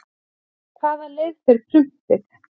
hvaða leið fer prumpið